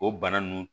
O bana nunnu